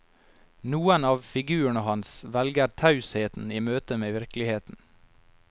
Noen av figurene hans velger tausheten i møtet med virkeligheten.